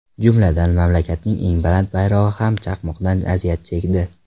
Jumladan, mamlakatning eng baland bayrog‘i ham chaqmoqdan aziyat chekdi.